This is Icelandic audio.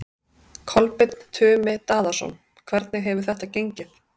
Kolbeinn Tumi Daðason: Hvernig hefur þetta gengið?